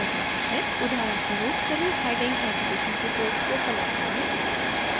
उदाहरणस्वरूप चलिए heading education detailsको color करें